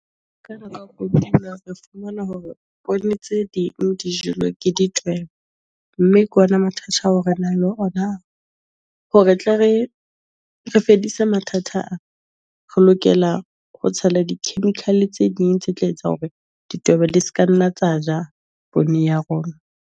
Ka mora kotulo re fumana hore poone tse ding di jelwe ke ditweba, mme ke ona mathata ao re nang le ona. Hore tle re re fedise mathata a, re lokela ho tshela di-chemical tse ding tse tla etsa hore ditweba di seka nna tsa ja poone ya rona.